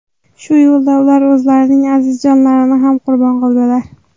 Shu yo‘lda ular o‘zlarining aziz jonlarini ham qurbon qildilar.